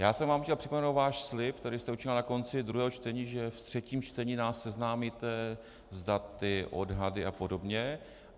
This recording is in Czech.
Já jsem vám chtěl připomenout váš slib, který jste učinila na konci druhého čtení, že v třetím čtení nás seznámíte s daty, odhady a podobně.